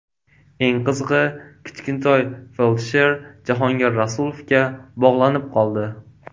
Eng qizig‘i Kichkintoy feldsher Jahongir Rasulovga bog‘lanib qoldi.